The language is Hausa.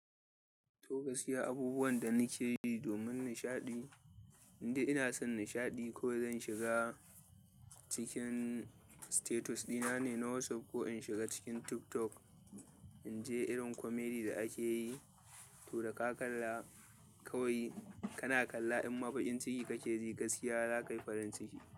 To gaskiya, abubuwan da nake yi domin nishaɗi, inda ina son nishaɗi ko zan shiga cikin status ɗina ne na WhatsApp ko in shiga cikin TikTok, in je irin komedi da ake yi, to da ka kalla kawai kana kalla in ma bakin ciki kake ji gaskiya, za ka yi farin ciki.